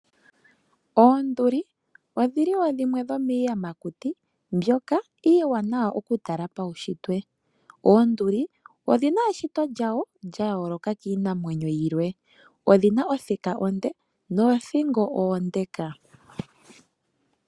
Oonduli odhili wo dhimwe dhomiiyamakuti mbyoka iiwanawa okutala paushitwe. Oonduli odhina eshito lyawo lya yooloka kiinamwenyo yilwe. Odhina othika onde noothingo oondeka.